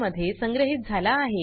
मध्ये संग्रहीत झाला आहे